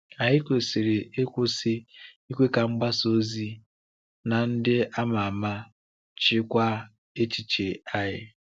Anyị kwesịrị ịkwụsị ikwe ka mgbasa ozi na ndị ama ama chịkwaa echiche anyị.